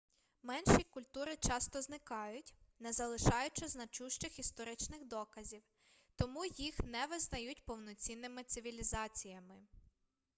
менші культури часто зникають не залишаючи значущих історичних доказів тому їх не визнають повноцінними цивілізаціями